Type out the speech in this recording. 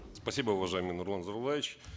спасибо уважаемый нурлан зайроллаевич